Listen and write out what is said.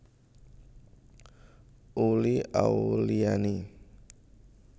Uli Auliani